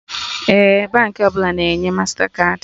Ee, Baankị ọbụla na-enye mastakaadị